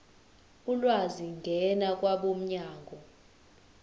ulwazi ngena kwabomnyango